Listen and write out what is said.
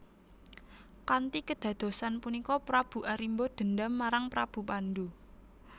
Kanthi kedadosan punika Prabu Arimba dendam marang Prabu Pandu